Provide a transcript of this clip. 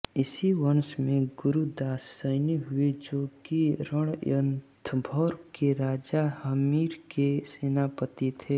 इसी वंश में गुरुदास सैनी हुए जो कि रणथंभौर के राजा हम्मीर के सेनापति थे